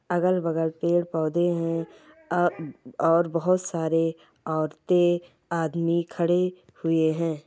अगल बगल पेड़ पौधे है अ और बहुत सारे औरते आदमी खड़े हुए है ।